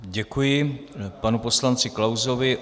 Děkuji panu poslanci Klausovi.